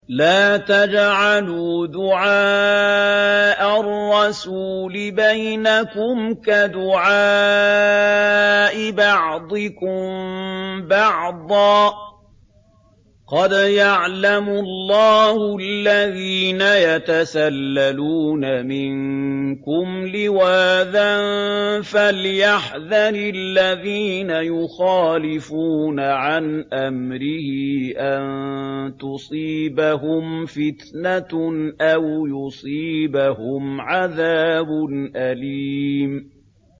لَّا تَجْعَلُوا دُعَاءَ الرَّسُولِ بَيْنَكُمْ كَدُعَاءِ بَعْضِكُم بَعْضًا ۚ قَدْ يَعْلَمُ اللَّهُ الَّذِينَ يَتَسَلَّلُونَ مِنكُمْ لِوَاذًا ۚ فَلْيَحْذَرِ الَّذِينَ يُخَالِفُونَ عَنْ أَمْرِهِ أَن تُصِيبَهُمْ فِتْنَةٌ أَوْ يُصِيبَهُمْ عَذَابٌ أَلِيمٌ